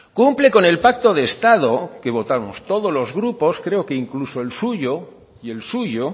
cumple con el pacto de estado que votamos todos los grupos creo que incluso el suyo y el suyo